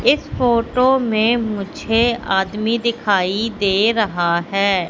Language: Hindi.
इस फोटो में मुझे आदमी दिखाई दे रहा हैं।